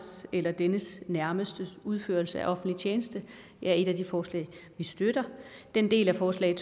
eller dennes nærmestes udførelse af offentlig tjeneste er et af de forslag vi støtter den del af forslag